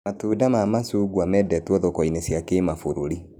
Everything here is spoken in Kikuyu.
Matunda ma macungwa mendetwo thoko-inĩ cia kĩmabũrũri